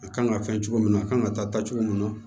A kan ka fɛn cogo min na a kan ka taa cogo min na